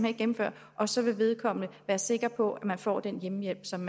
ikke gennemføre og så vil vedkommende være sikker på at få den hjemmehjælp som